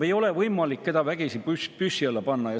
Ei ole võimalik kedagi vägisi püssi alla panna.